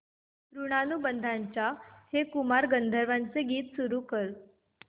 ऋणानुबंधाच्या हे कुमार गंधर्वांचे गीत सुरू कर